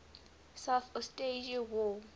south ossetia war